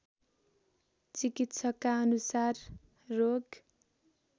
चिकित्सकका अनुसार रोग